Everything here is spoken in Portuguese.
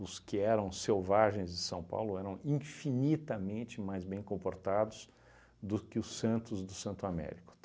os que eram selvagens de São Paulo eram infinitamente mais bem comportados do que os santos do Santo Américo.